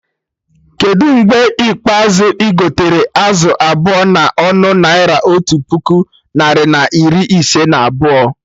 Kedụ mgbe ikpeazụ igotere azụ abụọ na ọnụ Naira otu puku narị na iri ise na abụọ?